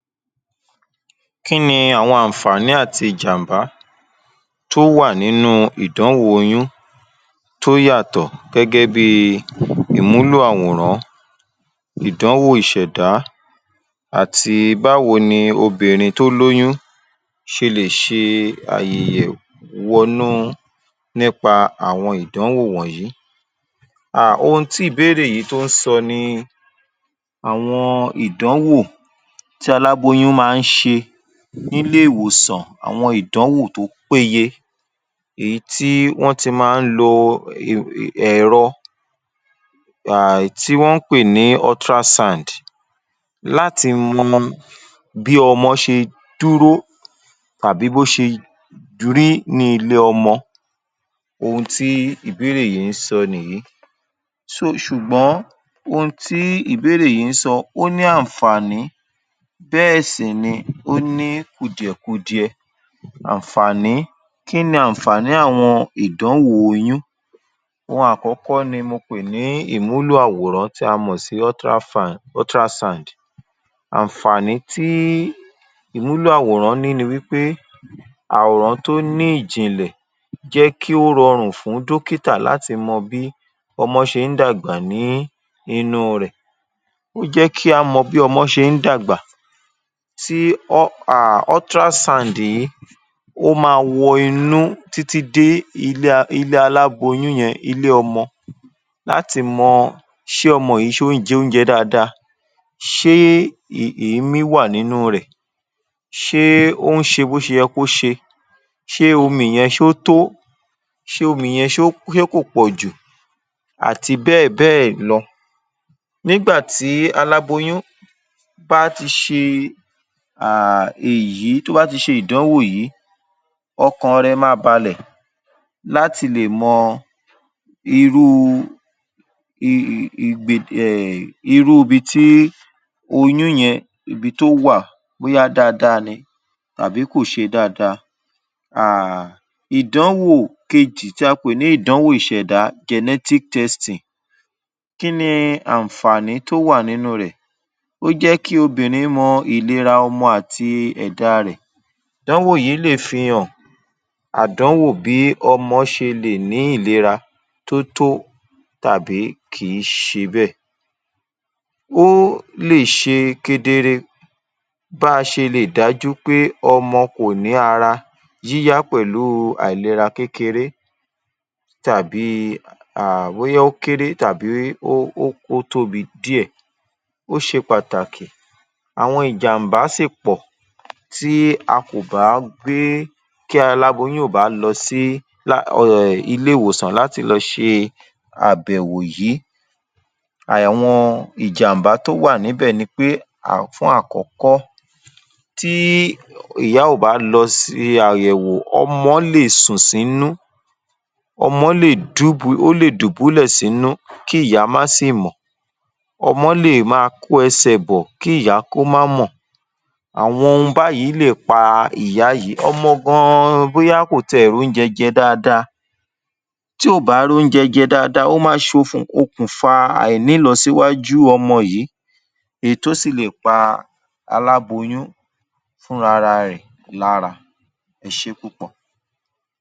Kí ni àwọn àǹfàní àti ìjàm̀bá tó wà nínú ìdanwò oyún tó yàtọ̀ gẹ́gẹ́ bí i ìmúlò àwòrán, ìdánwò ìṣẹ̀dá àti báwo ni obìnrin tó lóyún ṣe lè ṣe wọnú u nípa àwọn ìdánwò wọ̀nyí?. um Ohun tí ìbéèrè yìí tó ń sọ ni àwọn ìdánwò tí aláboyún máa ń ṣe nílé-ìwòsàn àwọn ìdánwò tó péye èyí tí wọ́n ti máa ń lo ẹ̀rọ èyí tí wọ́n ń pè ní ultrasound láti wo bí ọmọ ṣe dúró tàbí bó ṣe rí ní ilé ọmọ ohun tí ìbéèrè yí ń sọ nìyí so ṣùgbọ́n ohun tí ìbéèrẹ̀ yí ń sọ ó ní àǹfàní bẹ́ẹ̀ sì ni ó ní kùdìẹ̀ kudiẹ àǹfàní. Kí ni àǹfàní àwọn ìdánwò oyún? Ohun àkọ́kọ́ ni mo pè ní ìmúlò àwòrán tí a mọ̀ sí ultrasound àǹfààní tí ìmúlò àwòrán ní wí pe àwòrán tó ní ìjìnlẹ̀ jẹ́ kí ó rọrùn fún dọ́kítà látii mọ bí ọmọ ṣe ń dàgbà ní inú u rẹ̀. Ó jẹ́ kí á mọ bí ọmọ ṣe ń dàgbà tí ọ um ultrasound yìí ó má wọ inú títí dé ilé aláboyún yẹn ilé ọmọ láti mọ ṣé ọmọ yìí ṣe ó ń jẹ oúnjẹ dáadáa? ṣé èémí wà nínú u rẹ̀? ṣé ó ń ṣe bó ṣe yẹ kó ṣe? ṣé omi yẹn ṣó tó? ṣé omi yẹn kò pọ̀jù àti bẹ́ẹ̀ bẹ́ẹ̀ lọ? Nígbà tí aláboyún bá ti ṣe um èyí tó bá ti ṣe ìdánwò yí ọkàn rẹ̀ ma balẹ̀ láti lè mọ irú um irú ibi tí oyún yẹn ibi tó wà bóyá dáadáa ni tàbí kò ṣe dáadáa.[um] Ìdánwò kejì tí a pè ní ìdánwò ìṣẹ̀dá gentic testing. Kí ni àǹfààní tó wà nínú u rẹ̀? Ó jẹ́ kí obìnrin mọ ìnira ọmọ àti ẹ̀da rẹ̀. Ìdánwò yí lè fi hàn àdánwò bí ọmọ ṣe lè ní ìlera tó tó tàbí kì í ṣe bẹ́ẹ̀. Ó lè ṣe kedere bí a ṣe lè dájú peh ọmọ kò ní ara yíyá pẹ̀lú àìlera kékéré tàbí i um bóyá ó kéré tàbí ó tóbi díẹ̀, ó ṣe pàtàkì àwọn ìjàm̀bá sì pọ̀ tí a kò bá gbé tí aláboyún ò bá lọ sí ilé-ìwòsàn láti lọ ṣe àbẹ̀wò yìí. Àwọn ìjàm̀bá tó wà níbẹ̀ ni pé fún àkọ́kọ́ tí ìyá ò bá lọ ṣe àyẹ̀wò ọmọ́ lè sùn sínú, ọmọ lè dúbu ọmọ lè dùbúlẹ̀ sínú kí ìyá má sì mọ̀, ọmọ́ lè ma kó ẹsẹ̀ bọ̀ kí ìya kó má mọ̀ àwọn ohun báyìí lè pa ìyá yìí ọmọ gan-an bóyá kò tiẹ̀ róúnjẹ jẹ dáadáa tí ò bá róúnjẹ jẹ dáadáa ó ma ń ṣokùnfa àìnílọsíwájú ọmọ yìí èyí tó sì lè pa aláboyún fúnra ra rẹ̀ lára. Ẹ ṣé púpọ̀.